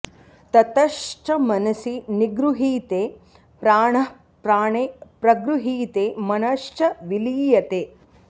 ततश्च मनसि निगृहीते प्राणः प्राणे प्रगृहीते मनश्च विलीयते